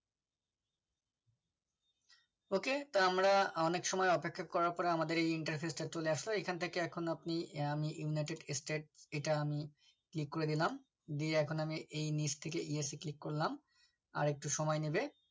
ok তা আমরা অনেক সময় অপেক্ষা করার পর আমাদের এই interface টা চলে আসলো এখান থেকে এখন আপনিআমি ইউনাইটেড স্টেট্ এটা আমি click করে দিলাম দিয়ে এখন আমি এই নিচ থেকে এই esc click করলাম আর একটু সময় নেবে